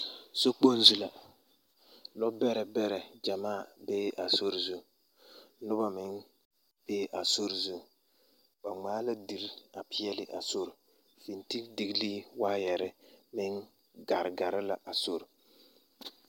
Sokpoŋ zu la lɔɔbɛrɛ bɛrɛ gyɛmaa bee a sori zu noba meŋ bee a sori zu ba ŋmaa la deri a peɛle a sori fenteldiglii waayɛre meŋ gare gare la a sori.